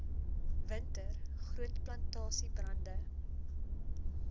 winter groot plantasiebrande